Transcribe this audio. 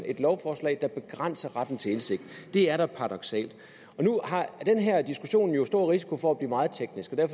et lovforslag der begrænser retten til indsigt det er da paradoksalt nu har den her diskussion jo stor risiko for at blive meget teknisk og